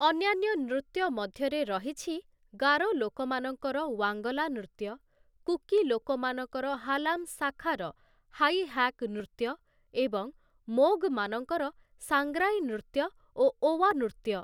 ଅନ୍ୟାନ୍ୟ ନୃତ୍ୟ ମଧ୍ୟରେ ରହିଛି ଗାରୋ ଲୋକମାନଙ୍କର ୱାଙ୍ଗଲା ନୃତ୍ୟ, କୁକି ଲୋକମାନଙ୍କର ହାଲାମ୍‌ ଶାଖାର ହାଇ ହାକ୍‌ ନୃତ୍ୟ ଏବଂ ମୋଗ୍‌ମାନଙ୍କର ସାଂଗ୍ରାଇ ନୃତ୍ୟ ଓ ଓୱା ନୃତ୍ୟ ।